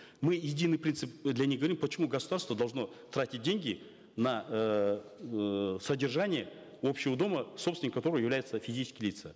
мы единый принцип для них говорим почему государство должно тратить деньги на эээ содержание общего дома собственниками которого являются физические лица